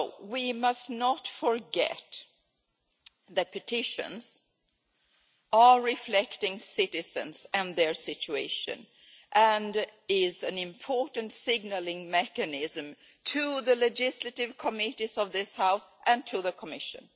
We must not forget that petitions are a reflection of citizens and their situation, and are an important signalling mechanism to the legislative committees of this House and to the Commission.